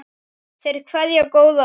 Þeir kveðja góða ömmu.